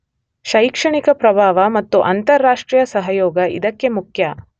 ಶೈಕ್ಷಣಿಕ ಪ್ರಭಾವ ಮತ್ತು ಅಂತರರಾಷ್ಟ್ರೀಯ ಸಹಯೋಗ ಇದಕ್ಕೆ ಮುಖ್ಯ